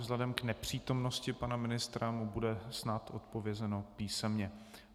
Vzhledem k nepřítomnosti pana ministra mu bude snad odpovězeno písemně.